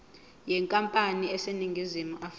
yenkampani eseningizimu afrika